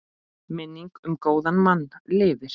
Minning um góðan mann lifir.